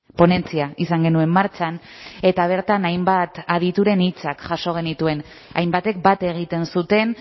ponentzia izan genuen martxan eta bertan hainbat adituren hitzak jaso genituen hainbatek bat egiten zuten